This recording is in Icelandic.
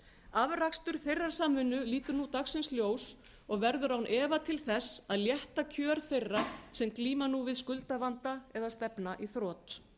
afrakstur þeirrar samvinnu lítur nú dagsins ljós og verður án efa til þess að létta kjör þeirra sem glíma nú við skuldavanda eða stefna í þrot